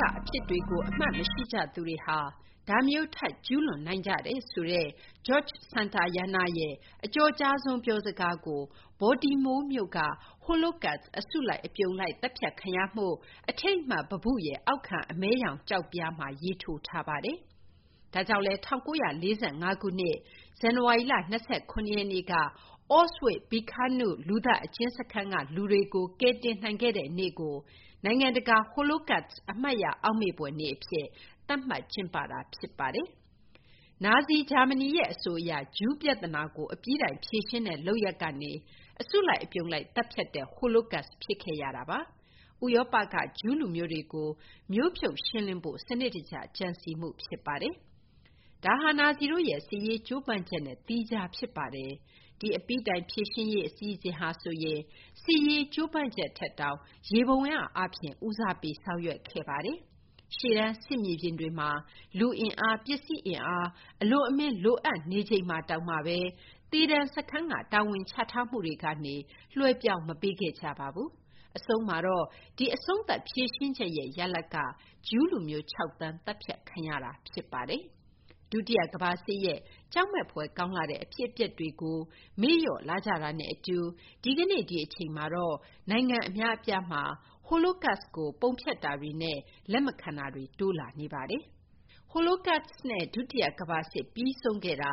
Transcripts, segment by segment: ကအဖြစ်တွေကို အမှတ်မရှိကြသူတွေဟာ ဒါမျိုး ထပ်ကျူးလွန်နိုင်ကြတယ်ဆိုတဲ့ Geroge Santayana ရဲ့ အကျော်ကြားဆုံးပြောစကားကို Baltimore မြို့က Holocaust အစုလိုက်အပြုံလိုက် သတ်ဖြတ်ခံရမှုအထိမ်းအမှတ်ပန်းပုရဲ့ အောက်ခံအမည်းရောင် ကျောက်ပြားမှာ ရေးထိုးထားပါတယ်။ ဒါကြောင့်လည်း ၁၉၄၅ ခုနှစ် ဇန်နဝါရီလ ၂၇ ရက် နေ့က Auschwitz-Birkenau လူသတ်အကျဉ်းစခန်းကလူတွေကို ကယ်တင်နိုင်ခဲ့တဲ့နေ့ကို နိုင်ငံတကာ Holocust အမှတ်ရအောက်မေ့ဖွယ်နေ့အဖြစ် သတ်မှတ်ကျင်းပတာဖြစ်ပါတယ်။ နာဇီဂျာမနီရဲ့အဆိုအရ ဂျူးပြဿနာကို အပြီးတိုင်ဖြေရှင်းတဲ့လုပ်ရပ်ကနေ အစုလိုက် အပြုံလိုက် သတ်ဖြတ်တဲ့ Holocaust ဖြစ်ခဲ့ရတာပါ။ ဥရောပကဂျူးလူမျိုးတွေကို မျိုးဖြုတ်ရှင်းလင်းဖို့ စနစ်တကျကြံစည်မှုဖြစ်ပါတယ်။ ဒါဟာ နာဇီတို့ရဲ့ စစ်ရေးကြိုးပမ်းချက်နဲ့ သီးခြားဖြစ်ပါတယ်။ ဒီ အပြီးတိုင်ဖြေရှင်းရေး အစီအစဉ်ဟာဆိုရင် စစ်ရေး ကြိုးပမ်းချက်ထက်တောင် ယေဘုယျအားဖြင့် ဦးစားပေးဆောင်ရွက်ခဲ့တာပါ။ ရှေ့တန်း စစ်မြေပြင်တွေမှာ လူအင်အား၊ ပစ္စည်းအင်အား၊ အလွန်အမင်းလိုအပ်နေချိန်မှာပင်လျင် သေဒဏ် စခန်းက တာဝန်ချထားမှုတွေကနေ လွှဲပြောင်းမပေးခဲ့ကြပါဘူး။ အဆုံးမှာတော့ ဒီ အဆုံးသတ်ဖြေရှင်းချက်ရဲ့ ရလဒ်ကတော့ ဂျူးလူမျိုး ၆ သန်း သတ်ဖြတ်ခံရမှု ဖြစ်ပါတယ်။ ဒုတိယကမ္ဘာစစ်ရဲ့ ကြောက်မက်ဖွယ်ကောင်းလှတဲ့ အဖြစ်အပျက်တွေကို မေ့လျော့လာကြတာနဲ့အတူ ဒီကနေ့ ဒီအချိန်မှာတော့ နိုင်ငံအများအပြားမှာ Holocaust ကို ပုံဖျက်တာတွေနဲ့ လက်မခံတာတွေ တိုးလာနေပါတယ်။ Holocaust နဲ့ ဒုတိယကမ္ဘာစစ်ပြီးဆုံးခဲ့တာ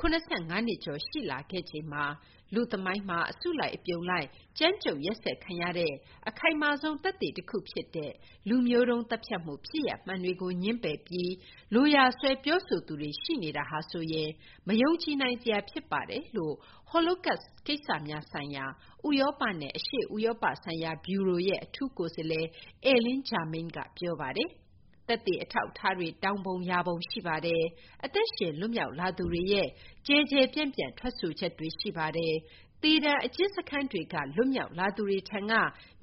၇၅ နှစ်ကျော်ရှိလာခဲ့ချိန်မှာ လူ့သမိုင်းမှာ အစုလိုက်အပြုံလိုက် ကြမ်းကြုတ်ရက်စက်ခံရတဲ့ အခိုင်မာဆုံး သက်သေတခုဖြစ်တဲ့ လူမျိုးတုန်းသတ်ဖြတ်မှု ဖြစ်ရပ်မှန်တွေကိုငြင်းပယ်ပြီး လိုရာဆွဲပြောဆိုသူတွေရှိနေတာဟာဆိုရင် မယုံကြည်နိုင်စရာ ဖြစ်ပါတယ်လို့ Holocaust ကိစ္စများဆိုင်ရာ ဥရောပနဲ့ အရှေ့ဥရောပဆိုင်ရာ ဗျူရိုရဲ့အထူးကိုယ်စားလှယ် Ellen Germain က ပြောပါတယ်။ သက်သေအထောက်အထားတွေ တောင်ပုံရာပုံ ရှိပါတယ်။ အသက်ရှင် လွတ်မြောက်လာသူတွေရဲ့ ကျယ်ကျယ်ပြန့်ပြန့် ထွက်ဆိုချက်တွေ ရှိပါတယ်။ သေဒဏ် အကျဉ်းစခန်းတွေကနေ လွတ်မြောက်လာသူတွေထံက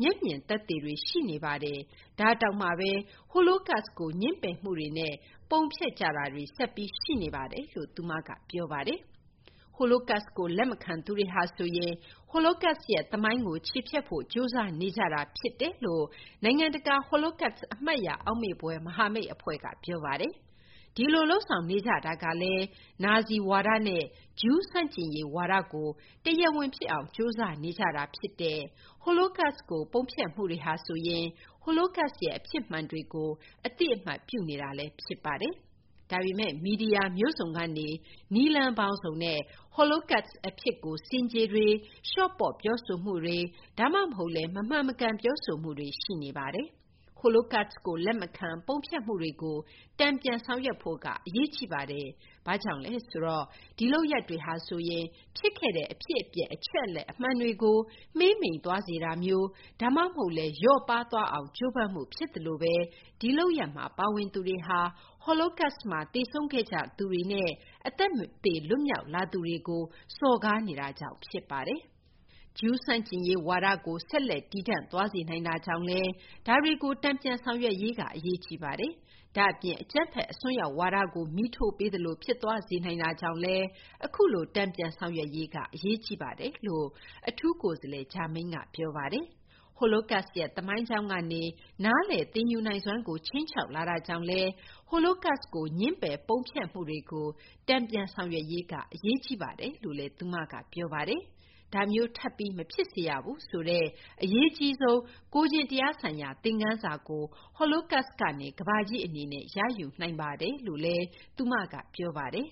မျက်မြင်သက်သေတွေ ရှိနေပါတယ်။ ဒါတောင်မှပဲ Holocaust ကို ငြင်းပယ်မှုတွေနဲ့ ပုံဖျက်ကြတာတွေ ဆက်ပြီး ရှိနေပါတယ်လို့ သူမက ပြောပါတယ်။ Holocaust ကို လက်မခံသူတွေဟာဆိုရင် Holocaust ရဲ့ သမိုင်းကို ချေဖျက်ဖို့ ကြိုးစားနေကြတာဖြစ်တယ်လို့ နိုင်ငံတကာ Holocaust အမှတ်ရအောက်မေ့ဖွယ် မဟာမိတ်အဖွဲ့ က ပြောပါတယ်။ ဒီလို လုပ်ဆောင်နေကြတာကလည်း နာဇီဝါဒနဲ့ ဂျူးဆန့်ကျင်ရေး ဝါဒကို တရားဝင်ဖြစ်အောင် ကြိုးစားနေကြတာ ဖြစ်ပါတယ်။ Holocaust ကို ပုံဖျက်မှုတွေဟာဆိုရင် Holocaust ရဲ့ အဖြစ်မှန်တွေကို အသိအမှတ်ပြုနေတာလည်း ဖြစ်ပါတယ်။ ဒါပေမဲ့ မီဒီယာမျိုးစုံကနေ နည်းလမ်းပေါင်းစုံနဲ့ Holocust အဖြစ်ကို ဆင်ခြေတွေ၊ လျှော့ပေါ့ပြောဆိုမှုတွေ ဒါမှမဟုတ်လည်း မမှန်မကန်ပြောဆိုမှုတွေ ရှိနေပါတယ်။ Holocaust ကို လက်မခံ၊ ပုံဖျက်မှုတွေကို တန်ပြန်ဆောင်ရွက်ဖို့က အရေးကြီးပါတယ်။ ဘာကြောင့်လဲဆိုတော့ ဒီလုပ်ရပ်တွေဟာဆိုရင် ဖြစ်ခဲ့တဲ့ အဖြစ်အပျက် အချက်အလက် အမှန်တွေကို မှေးမှိန်သွားစေတာမျိုး ဒါမှမဟုတ်လည်း လျော့ပါးသွားအောင် ကြိုးပမ်းမှု ဖြစ်သလိုဘဲ ဒီလုပ်ရပ်မှာ ပါဝင်သူတွေဟာ Holocaust မှာ သေဆုံးခဲ့ကြသူတွေနဲ့ အသက်မသေ လွတ်မြောက်လာသူတွေကို စော်ကားနေတာကြောင့် ဖြစ်ပါတယ်။ ဂျူး ဆန့်ကျင်ရေးဝါဒကို ဆက်လက်တည်တံ့သွားစေနိုင်တာကြောင့်လည်း ဒါတွေကို တန်ပြန်ဆောင်ရွက်ရေးက အရေးကြီးပါတယ်။ ဒါ့အပြင် အကြမ်းဖက် အစွန်းရောက်ဝါဒကို မီးထိုးပေးသလို ဖြစ်သွားစေနိုင်တာကြောင့်လည်း အခုလို တန်ပြန်ဆောင်ရွက်ရေးက အရေးကြီးပါတယ်လို့ အထူးကိုယ်စားလှယ် Germain က ပြောပါတယ်။ Holocaust ရဲ့ သမိုင်းကြောင်းကနေ နားလည်သင်ယူနိုင်စွမ်းကို ခြိမ်းခြောက်လာတာကြောင့်လည်း Holocaust ကို ငြင်းပယ် ပုံဖျက်မှုတွေကို တန်ပြန်ဆောင်ရွက်ရေးက အရေးကြီးပါတယ်လို့လည်း သူမက ပြောပါတယ်။ ဒါမျိုး ထပ်ပြီး မဖြစ်စေရဘူးဆိုတဲ့ အရေးကြီးဆုံး ကိုယ်ကျင့်တရားဆိုင်ရာ သင်ခန်းစာကို Holocaust ကနေ ကမ္ဘာကြီး အနေနဲ့ ရယူနိုင်ပါတယ်လို့လည်း သူမက ပြောပါတယ်